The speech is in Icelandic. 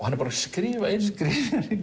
hann er búinn að skrifa inn